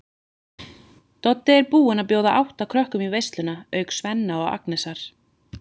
Doddi er búinn að bjóða átta krökkum í veisluna auk Svenna og Agnesar.